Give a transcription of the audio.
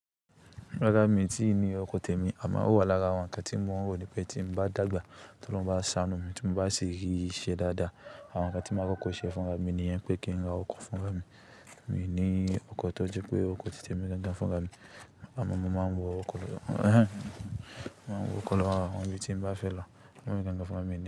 Rárá mi ti ní oko tèmi àmọ́ ó wà lára àwọn nnkán tí mo wò ní pé tí mo bá dàgbà tó lóhun bá ṣanu mi tí mo bá ṣe rì iṣe dáadáa. Àwọn nnkán tí máa kóko ṣe fúnra mi níyẹn pé kí n ra oko fún irin. Kin ní oko tó jẹ pé oko ti tèmi ganga fúnra mi Àmọ́ mo máa ń wọ oko lọ wọ oko lọ awon ibi tí mo bá fẹ́ lọ, ó máa jẹ́ dandan fún mí.